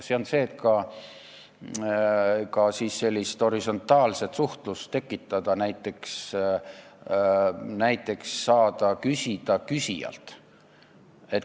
See on see, et tuleks ka horisontaalset suhtlust tekitada, näiteks võiks saada küsida küsijalt.